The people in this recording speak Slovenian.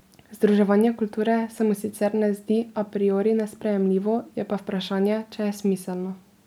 Združevanje kulture se mu sicer ne zdi a priori nesprejemljivo, je pa vprašanje, če je smiselno.